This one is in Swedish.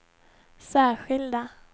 särskilda